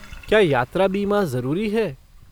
क्या यात्रा बीमा जरुरी है?